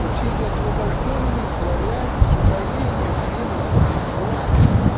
то все эти освобождённые славяне с упоением ринутся в европу